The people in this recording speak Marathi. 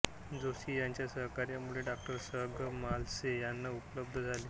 जोशी यांच्या सहकार्यामुळे डॉ स गं मालशे यांना उपलब्ध झाले